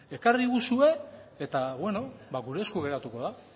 ekarguzue eta gure esku geratuko da